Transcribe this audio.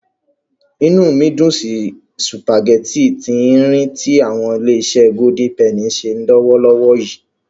Inú mi dùn sí sùpàgẹ́tì tí-ín-rìn tí àwọn Ilé-iṣé Golden Penny ń ṣe lọ́wọ́lọ́wọ́ yìí.